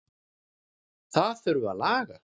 Það þurfi að laga.